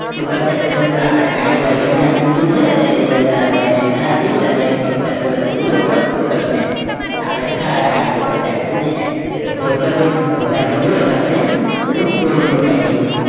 Total section ma aapde ID all ID એની અંદર આપડે enter આપી ફક્ત આટલું લખી દિયે કે Total section એટલે ખ્યાલ આવે કે આ Total section છે હવે save કરી ડેઈ પછી આપણે જોઈએ કે આપણે બધું core નું setting